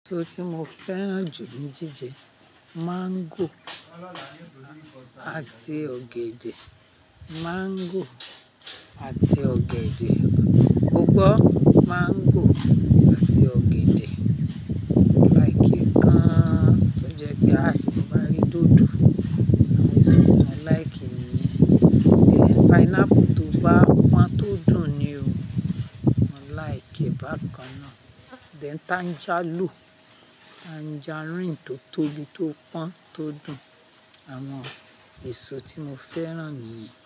Èso tí mo fẹ́ràn jù ní jíjẹ mango àti ọ̀gẹ̀dẹ̀, mango àti ọ̀gẹ̀dẹ̀. O gbọ́, mango àti ọ̀gẹ̀dẹ̀. Mo like e gan tó jẹ pé ti mo bá rí dòdò, àwọn èso tí mo like nìyẹn. Then pineapple tó bá pọ́n tó dùn ni o, mo like bàkan náà. Then tanjalo, tangerine tó tóbi tó pọ́n tó dùn. Àwọn èso tí mo fẹ́ràn nìyẹn.